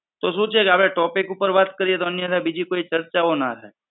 તો શું છે કે આપડે topic ઉપર વાત કરીએ તો અન્યથા બીજી કોઈ ચર્ચાઓ ના થાય.